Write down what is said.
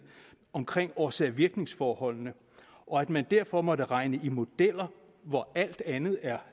omkring årsag virknings forholdene og at man derfor måtte regne i modeller hvor alt andet er